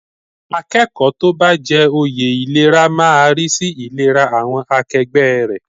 Akẹ́kọ̀ọ́ tó bá jẹ oyè ìlera máa rí sí ìlera àwọn akẹgbẹ́ rẹ̀.